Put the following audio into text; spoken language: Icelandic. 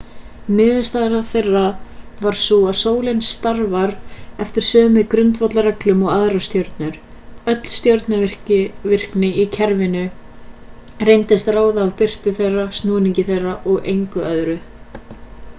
niðurstaða þeirra var sú að sólin starfar eftir sömu grundvallarreglum og aðrar stjörnur öll stjörnuvirkni í kerfinu reyndist ráðast af birtu þeirra snúningi þeirra og engu öðru